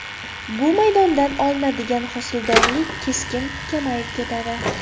Bu maydondan olinadigan hosildorlik keskin kamayib ketadi.